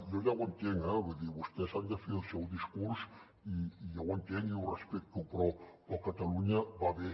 jo ja ho entenc eh vull dir vostès han de fer el seu discurs i jo ho entenc i ho respecto però catalunya va bé